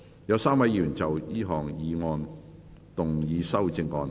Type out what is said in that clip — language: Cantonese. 有3位議員要就這項議案動議修正案。